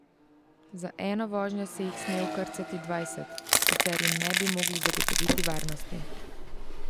Za eno vožnjo se jih sme vkrcati dvajset, sicer jim ne bi mogli zagotoviti varnosti.